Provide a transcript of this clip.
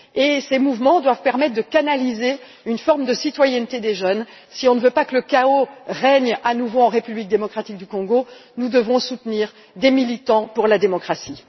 Ils doivent permettre de canaliser une forme de citoyenneté des jeunes. Si nous ne voulons pas que le chaos règne à nouveau en République démocratique du Congo, nous devons soutenir les militants pour la démocratie.